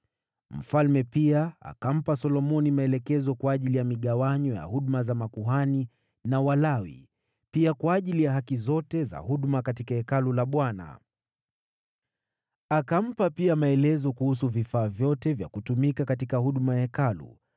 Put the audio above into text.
Mfalme pia akampa Solomoni maelekezo kwa ajili ya migawanyo ya huduma za makuhani na Walawi, pia kwa ajili ya kazi zote za huduma katika Hekalu la Bwana . Akampa pia maelezo kuhusu vifaa vyote vya kutumika katika huduma ya Hekalu.